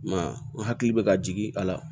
I m'a ye n hakili bɛ ka jigin a la